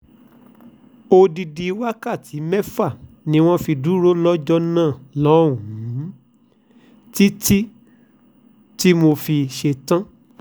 odidi wákàtí mẹ́fà ni wọ́n fi dúró lọ́jọ́ náà lọ́hùn-ún títí tí mo fi sẹ́tàn